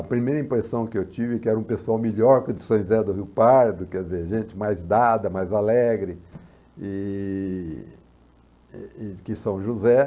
A primeira impressão que eu tive que era um pessoal melhor que o de São José do Rio Pardo, quer dizer, gente mais dada, mais alegre, e... e que São José.